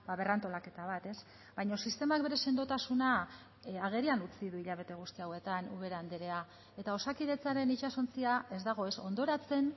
berrantolaketa bat ez baina sistemak bere sendotasuna agerian utzi du hilabete guzti hauetan ubera andrea eta osakidetzaren itsasontzia ez dago ez hondoratzen